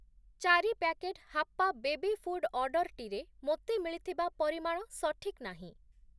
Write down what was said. ଚାରି ପ୍ୟାକେଟ୍‌ ହାପ୍ପା baby food ଅର୍ଡ଼ର୍‌ଟିରେ ମୋତେ ମିଳିଥିବା ପରିମାଣ ସଠିକ୍ ନାହିଁ ।